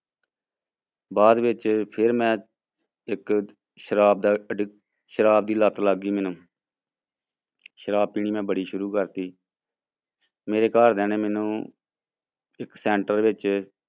ਬਾਅਦ ਵਿੱਚ ਫਿਰ ਮੈਂ ਇੱਕ ਸ਼ਰਾਬ ਦਾ ਅਡਿਕ ਸ਼ਰਾਬ ਦੀ ਲੱਤ ਲੱਗ ਗਈ ਮੈਨੂੰ ਸ਼ਰਾਬ ਪੀਣੀ ਮੈਂ ਬੜੀ ਸ਼ੁਰੂ ਕਰ ਦਿੱਤੀ ਮੇਰੇ ਘਰਦਿਆਂ ਨੇ ਮੈਨੂੰ ਇੱਕ center ਵਿੱਚ